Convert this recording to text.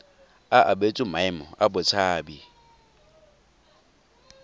a abetswe maemo a botshabi